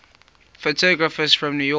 photographers from new york